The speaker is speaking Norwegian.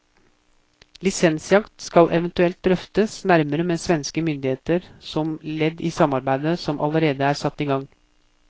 Lisensjakt skal eventuelt drøftes nærmere med svenske myndigheter, som ledd i samarbeidet som allerede er satt i gang.